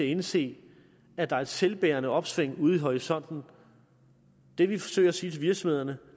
indse at der er et selvbærende opsving ude i horisonten det vi forsøger at sige til virksomhederne